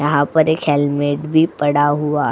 यहा पर एक हेलमेट भी पड़ा हुआ --